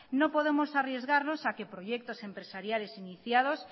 no podemos arriesgarnos a que proyectos empresariales iniciados